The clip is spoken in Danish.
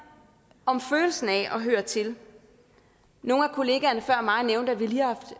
om følelsen af at høre til nogle af kollegaerne før mig nævnte at vi lige